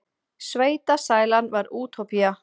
Sveitasælan var útópía.